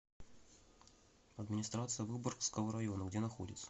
администрация выборгского района где находится